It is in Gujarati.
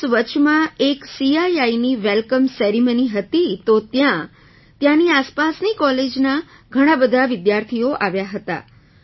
પ્લસ વચમાં એક CIIની વેલકમ સેરેમોની હતી તો ત્યાં ત્યાંની આસપાસની કૉલેજના ઘણા બધા વિદ્યાર્થીઓ આવ્યા હતા